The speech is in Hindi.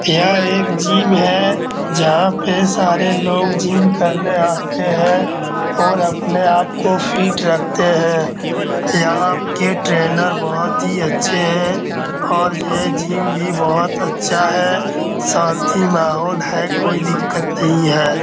यह एक जिम है जहाँ पे सारे लोग जिम करने आते हैं और अपने आप को फीट रखते हैं। यहाँ के ट्रेनर बहुत ही अच्छे हैं और ये जिम भी बहुत अच्छा है शांति माहौल है कोई दिक्कत नहीं है।